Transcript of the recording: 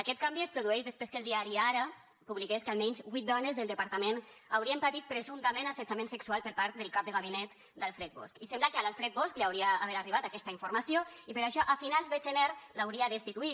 aquest canvi es produeix després que el diari ara publiqués que almenys vuit dones del departament haurien patit presumptament assetjament sexual per part del cap de gabinet d’alfred bosch i sembla que a l’alfred bosch li hauria d’haver arribat aquesta informació i per això a finals de gener l’hauria destituït